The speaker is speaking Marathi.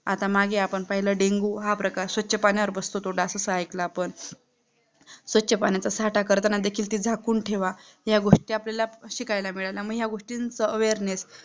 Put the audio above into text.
आता मागे आपण पाहिला डेंगू हा प्रकार स्वच्छ पाणी वर बसतो तो डास असा ऐकला आपण स्वच्छ पाण्याचा साठा करताना देखील ते झाकून ठेवा या, गोष्टी आपल्याला शिकायला मिळाला मग या गोष्टींचा awareness